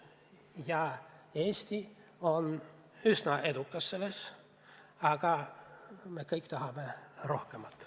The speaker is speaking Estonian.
Ja Eesti on üsna edukas, aga me kõik tahame rohkemat.